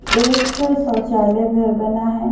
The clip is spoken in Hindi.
एक शौचालय घर बना है।